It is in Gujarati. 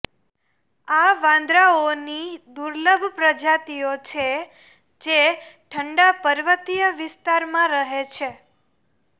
આ વાંદરાઓની દુર્લભ પ્રજાતિઓ છે જે ઠંડા પર્વતીય વિસ્તારમાં રહે છે